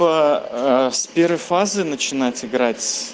аа с первой фазы начинать играть